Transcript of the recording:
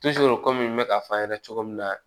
kɔmi n bɛ k'a fɔ a ɲɛna cogo min na